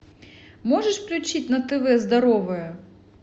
можешь включить на тв здоровое